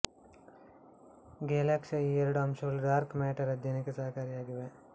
ಗೆಲಕ್ಸಿಯ ಈ ಎರಡು ಅಂಶಗಳು ಡಾರ್ಕ್ ಮ್ಯಾಟರ್ ಆಧ್ಯಯನಕ್ಕೆ ಸಹಕಾರಿಯಾಗಿವೆ